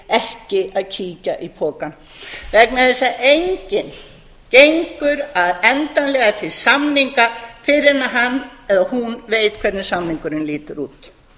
ekki að kíkja í pakkann vegna þess að enginn gengur endanlega til samninga fyrr en hann eða hún veit hvernig samningurinn lítur út